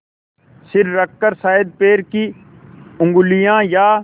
सिर रखकर शायद पैर की उँगलियाँ या